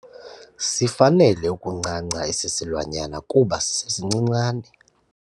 Sifanele ukuncanca esi silwanyana kuba sisesincincane.